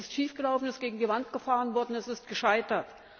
Es ist schiefgelaufen, ist gegen die Wand gefahren worden, es ist gescheitert.